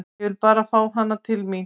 Ég vil bara fá hana til mín.